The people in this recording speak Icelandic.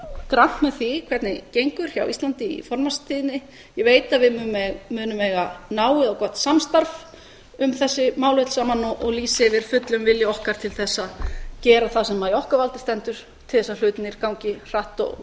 grannt með því hvernig gengur hjá íslandi í formannstíðinni ég veit að við munum eiga náið og gott samstarf um þessi mál öll saman og lýsi yfir fullum vilja okkar til þess að gera það sem í okkar valdi stendur til þess að hlutirnir gangi hratt og